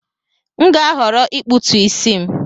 M ga-ahọrọ ịkpụtu isi m